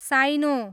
साइनो